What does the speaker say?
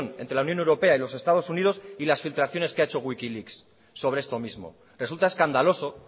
entre la unión europea y los estados unidos y las filtraciones que ha hecho wikileaks sobre esto mismo resulta escandaloso